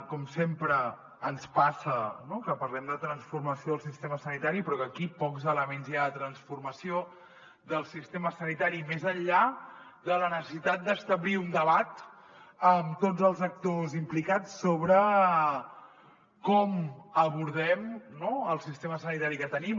com sempre ens passa que parlem de transformació del sistema sanitari però que aquí pocs elements hi ha de transformació del sistema sanitari més enllà de la necessitat d’establir un debat amb tots els actors implicats sobre com abordem no el sistema sanitari que tenim